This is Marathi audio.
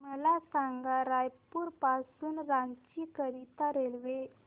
मला सांगा रायपुर पासून रांची करीता रेल्वे